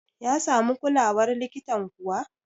ya samu kulawar likitan kuwa?